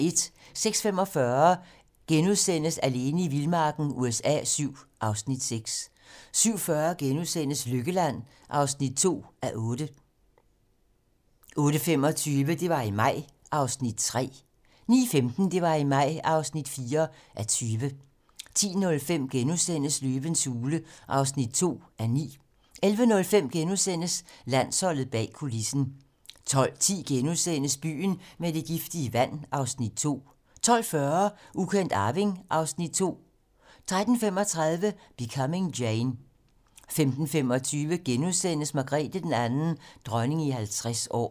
06:45: Alene i vildmarken USA VII (Afs. 6)* 07:40: Lykkeland (2:8)* 08:25: Det var i maj (3:20) 09:15: Det var i maj (4:20) 10:05: Løvens hule (2:9)* 11:05: Landsholdet bag kulissen * 12:10: Byen med det giftige vand (Afs. 2)* 12:40: Ukendt arving (Afs. 2) 13:35: Becoming Jane 15:25: Margrethe II - Dronning i 50 år *